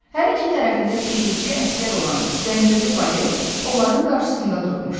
Hər iki tərəfində keşikçi əsgər olan zəncirli valet onların qarşısında durmuşdu.